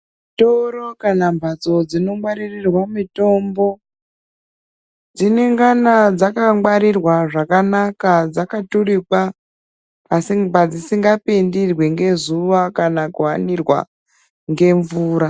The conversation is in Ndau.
Zvitoro kana mbatso dzinongwaririrwa mitombo dzinengana dzakangwarirwa zvakanaka dzakaturikwa padzisingapindirwi ngezuwa kana kuhanirwa ngemvura.